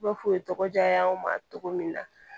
Ba foye tɔgɔ diya anw ma cogo min na